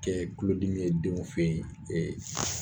Kɛɛ tulodimi ye denw fe ye